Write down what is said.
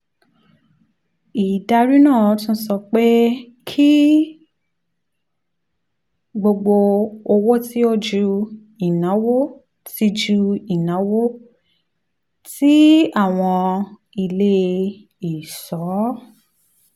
ìdarí náà tún sọ pé kí gbogbo owó tí ó ju ìnáwó tí ju ìnáwó tí àwọn ilé ìṣọ́